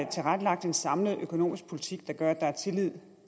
tilrettelagt en samlet økonomisk politik der gør at der er tillid